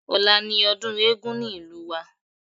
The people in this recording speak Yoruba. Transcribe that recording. Ọ̀la ni ọdún eégún ní ìlú wa